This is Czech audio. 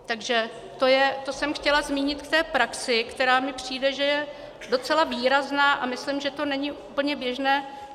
Takže to jsem chtěla zmínit k té praxi, která mi přijde, že je docela výrazná, a myslím, že to není úplně běžné.